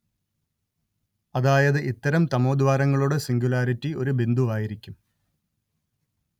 അതായത് ഇത്തരം തമോദ്വാരങ്ങളുടെ സിംഗുലാരിറ്റി ഒരു ബിന്ദുവായിരിക്കും